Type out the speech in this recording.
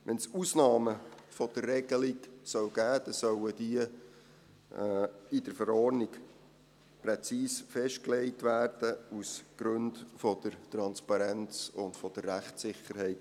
Wenn es Ausnahmen von dieser Regelung geben soll, dann sollen diese aus Gründen der Transparenz und Rechtssicherheit in der Verordnung präzise festgelegt werden.